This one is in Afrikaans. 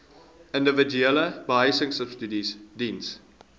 individuele behuisingsubsidies diens